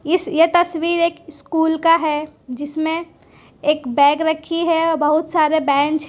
इस ये तस्वीर एक स्कूल का है जिसमें एक बैग रखी है बहुत सारे बेंच --